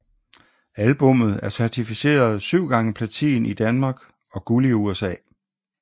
Albummet er certificeret 7 x Platin i Danmark og Guld i USA